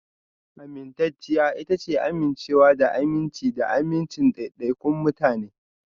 Amintacciya ita ce amincewa da aminci da amincin daidaikun mutane